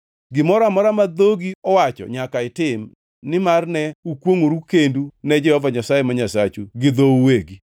Gimoro amora ma dhogi owacho nyaka itim, nimar ne ukwongʼoru kendu ne Jehova Nyasaye ma Nyasachu gi dhou uwegi.